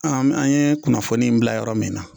An' an ye kunnafoni in bila yɔrɔ min na